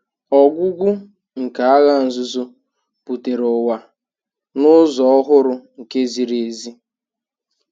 Ọgwụgwụ nke Agha Nzuzo butere ụwa na- ụzọ ọhụrụ, nke ziri ezi.